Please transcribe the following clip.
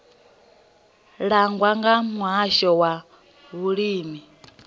langwa nga muhasho wa vhulimi